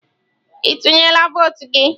Ị tinyela votu gị?